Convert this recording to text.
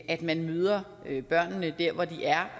at man møder børnene der hvor de er